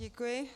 Děkuji.